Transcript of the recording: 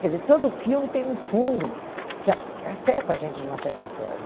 Quer dizer, todo filme tem um fundo que a afeta a gente de uma certa forma.